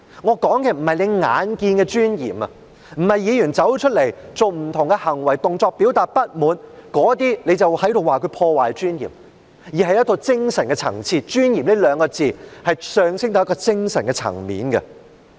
我說的不是眼見的尊嚴，不是像主席說的一般，議員走出來做不同行為動作表達不滿便被視為破壞議會尊嚴，而是一個精神的層次，"尊嚴"這兩個字是上升到一個精神的層面。